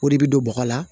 O de bɛ don bɔgɔ la